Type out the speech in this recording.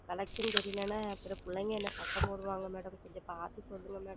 Collection சரி இல்லை என்றால் அப்புறம் பிள்ளைகள் என்னை சத்தம் போடுவார்கள் Madam கொஞ்சம் பார்த்து சொல்லுங்கள் Madam